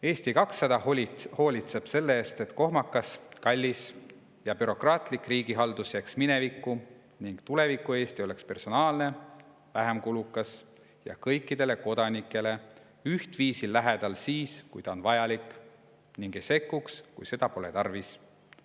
Eesti 200 hoolitseb selle eest, et kohmakas, kallis ja bürokraatlik riigihaldus jääks minevikku ja tuleviku Eesti oleks personaalne, vähem kulukas ja kõikidele kodanikele ühtviisi lähedal siis, kui see on vajalik, ning ei sekkuks, kui seda pole tarvis.